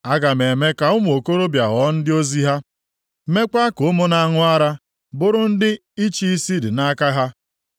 “Aga m eme ka ụmụ okorobịa ghọọ ndị ozi ha, meekwa ka ụmụ na-aṅụ ara bụrụ ndị ịchị isi dị nʼaka ha.”